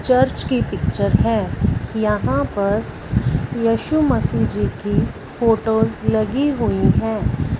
Church की picture है यहां पर यशु मसीह जी की फोटोज लगी हुई हैं।